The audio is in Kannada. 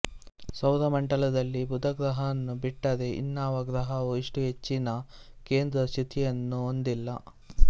ಸೌರ ಮಂಡಲದಲ್ಲಿ ಬುಧ ಗ್ರಹವನ್ನು ಬಿಟ್ಟರೆ ಇನ್ನಾವ ಗ್ರಹವೂ ಇಷ್ಟು ಹೆಚ್ಚ್ಚಿನ ಕೇಂದ್ರ ಚ್ಯುತಿಯನ್ನು ಹೊಂದಿಲ್ಲ